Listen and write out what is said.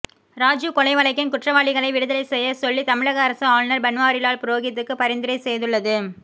ராஜீவ் கொலை வழக்கின் குற்றவாளிகளை விடுதலை செய்யச் சொல்லி தமிழக அரசு ஆளுநர் பன்வாரிலால் புரோகிதுக்கு பரிந்துரை செய்துள்ளது